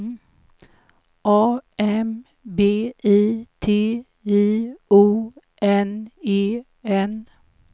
A M B I T I O N E N